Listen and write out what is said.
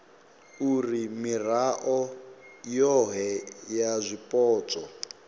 uri mirao yohe ya zwipotso